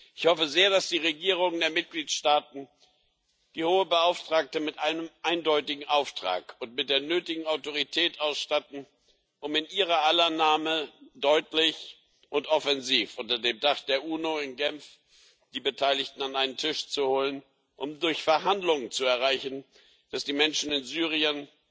Ich hoffe sehr, dass die Regierungen der Mitgliedstaaten die Hohe Vertreterin mit einem eindeutigen Auftrag und mit der nötigen Autorität ausstatten, um in ihrer aller Namen deutlich und offensiv unter dem Dach der UNO in Genf die Beteiligten an einen Tisch zu holen, um durch Verhandlungen zu erreichen, dass die Menschen in Syrien